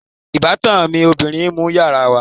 Ìbátan mi ọbìrin ń nu yàrá wa